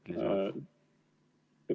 Kolm minutit lisaaega.